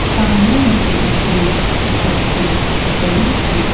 सामने मुझे एक बहोत ही बड़ी सी--